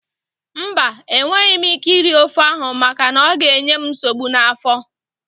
Mba, enweghị m ike iri ofe ahụ maka na ọ ga-enye m nsogbu n'afọ